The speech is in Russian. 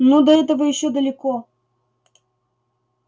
ну до этого ещё далеко